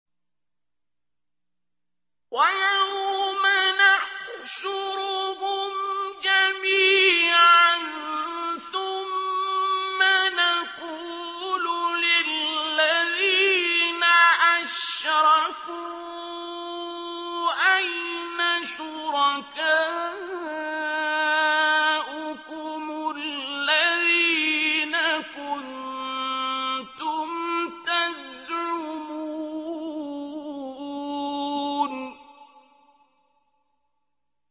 وَيَوْمَ نَحْشُرُهُمْ جَمِيعًا ثُمَّ نَقُولُ لِلَّذِينَ أَشْرَكُوا أَيْنَ شُرَكَاؤُكُمُ الَّذِينَ كُنتُمْ تَزْعُمُونَ